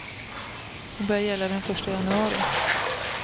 De börjar gälla den första januari.